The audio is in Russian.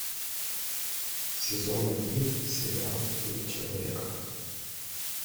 сезон один сериал быть человеком